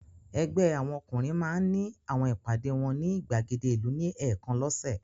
Ẹgbẹ́ àwọn ọkùnrin máa ń ní àwọn ìpàdé wọn ní ìgbàgede ìlú ní ẹ̀ẹ̀kan lọ́sẹ̀.